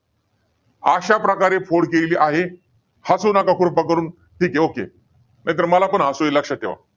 अशा प्रकारे फोड केलेली आहे. हसू नका कृपा करून. ठीके okay नाहीतर मला पण हसू येईल. लक्षात ठेवा.